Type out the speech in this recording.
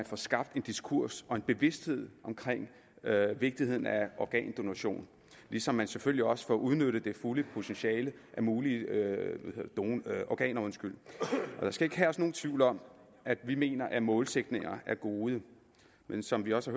får skabt en diskurs og en bevidsthed om vigtigheden af organdonation ligesom man selvfølgelig også får udnyttet det fulde potentiale af mulige organer der skal ikke herske nogen tvivl om at vi mener at målsætninger er gode men som vi også